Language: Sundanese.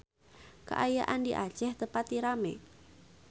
Kaayaan di Aceh teu pati rame